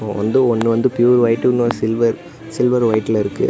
வந்து ஒன்னு வந்து பியூர் வைட் இன்னொன்னு சில்வர் சில்வர் வைட்ல இருக்கு.